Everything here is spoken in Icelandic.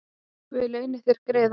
Guð launi þér greiðann